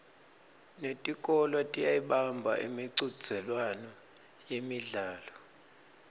netikolwa tiyayibamba imicudzelwano yemidlalo